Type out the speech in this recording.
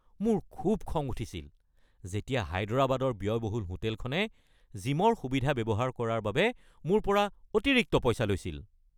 মোৰ খুব খং উঠিছিল যেতিয়া হায়দৰাবাদৰ ব্য়য়বহুল হোটেলখনে জিমৰ সুবিধা ব্যৱহাৰ কৰাৰ বাবে মোৰ পৰা অতিৰিক্ত পইচা লৈছিল।